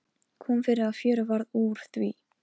Kom fyrir að fjör varð úr því.